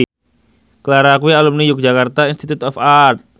Ciara kuwi alumni Yogyakarta Institute of Art